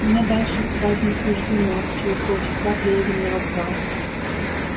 мне дальше спать не суждено через полчаса приедем на вокзал